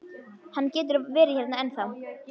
Hann getur verið hérna ennþá.